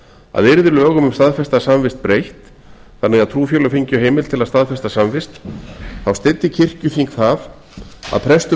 að yrði lögum um staðfesta samvist breytt þannig að trúfélög fengju heimild til að staðfesta samvist þá styddi kirkjuþing það að prestum